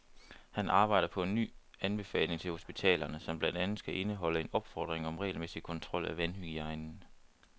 Han arbejder på en ny anbefaling til hospitalerne, som blandt andet skal indeholde en opfordring om regelmæssig kontrol af vandhygiejnen.